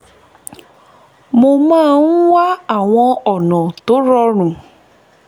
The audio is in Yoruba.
mo máa ń wá àwọn ọ̀nà tó rọrùn